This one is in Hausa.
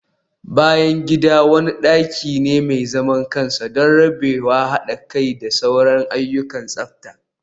bayan gida wani daki ne mai zaman kansa don rabewa, hada kai da sauran ayyukan tsafta